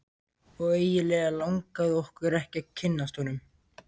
Og eiginlega langaði okkur ekki að kynnast honum.